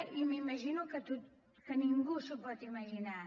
i m’imagino que ningú s’ho pot imaginar